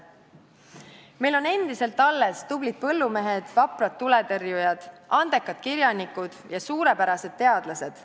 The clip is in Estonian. Meil on endiselt alles tublid põllumehed, vaprad tuletõrjujad, andekad kirjanikud ja suurepärased teadlased.